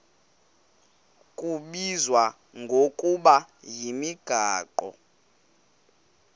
kubizwa ngokuba yimigaqo